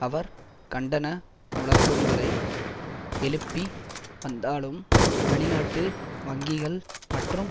அவர் கண்டன முழக்கங்களை எழுப்பி வந்தாலும் வெளிநாட்டு வங்கிகள் மற்றும்